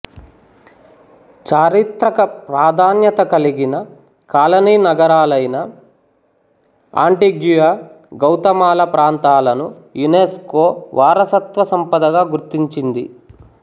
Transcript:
చారిత్రక ప్రాధాన్యత కలిగిన కాలనీ నగరాలైన ఆంటిగ్యుయా గౌతమాలా ప్రాంతాలను యునెస్కో వారసత్వ సంపదగా గుర్తించింది